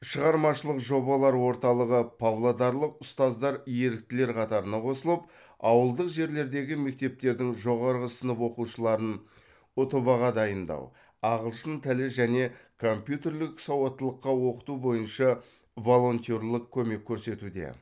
шығармашылық жобалар орталығы павлодарлық ұстаздар еріктілер қатарына қосылып ауылдық жерлердегі мектептердің жоғары сынып оқушыларын ұтб ға дайындау ағылшын тілі және компьютерлік сауаттылыққа оқыту бойынша волонтерлік көмек көрсетуде